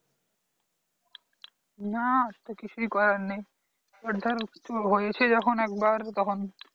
না আর তো কিছু করার নেই এবার ধর কিছু হয়েছে যখন একবার তখন